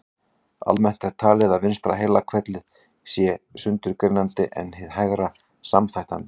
Almennt er talið að vinstra heilahvelið sé sundurgreinandi en hið hægra samþættandi.